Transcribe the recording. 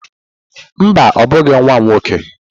Mba, ọ bụghị nwa m nwoke.